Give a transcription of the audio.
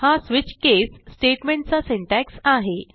हा switch case statement चा syntax आहे